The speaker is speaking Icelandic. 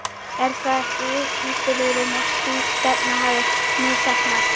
Er það ekki vitnisburður um að sú stefna hafi misheppnast?